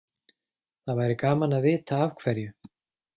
Það væri gaman að vita af hverju.